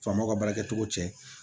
Faamaw ka baarakɛcogo cɛ